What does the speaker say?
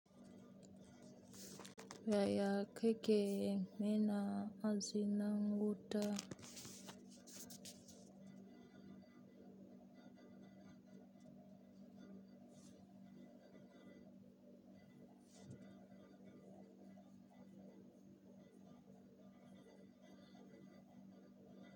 Yaya kake yin mena azinan wuta?